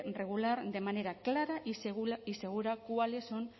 regular de manera clara y segura cuáles son